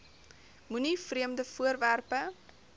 moenie vreemde voorwerpe